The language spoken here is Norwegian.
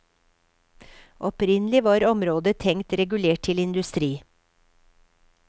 Opprinnelig var området tenkt regulert til industri.